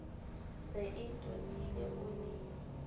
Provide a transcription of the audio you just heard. se e totile o ne